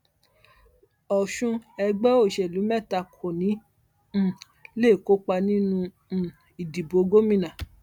ọṣùn ẹgbẹ òṣèlú mẹta kò ní um í lè kópa nínú um ìdìbò gómìnà